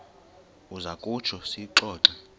uza kutsho siyixoxe